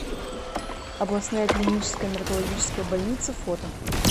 областная клиническая наркологическая больница фото